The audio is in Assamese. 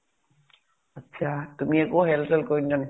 তুমি একো help চেল্প কৰি নিদিয়া নেকি ?